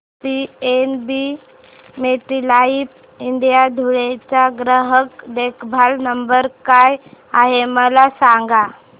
PNB MetLife India Dhule चा ग्राहक देखभाल नंबर काय आहे मला सांगा